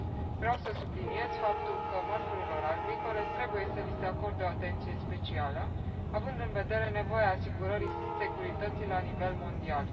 Vreau să subliniez faptul că mărfurilor agricole trebuie să li se acorde o atenție specială, având în vedere nevoia asigurării securității la nivel mondial.